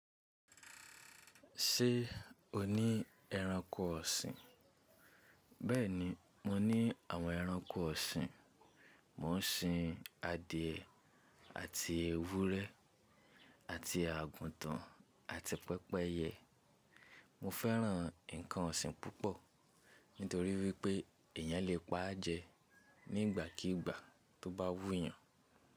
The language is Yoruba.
Ṣé o ní ẹranko ọ̀sìn? Bẹ́ẹ̀ni, mo ní àwọn ẹranko ọ̀sìn. Mo ń sin adìẹ́ àti ewúrẹ́ àti àgùtàn àti pẹ́pẹ́yẹ. Mo fẹ́ràn ǹkan ọ̀sìn púpọ̀ nítorí wípé èyàn lè pa á jẹ nígbàkíìgbà tó bá wúyàn.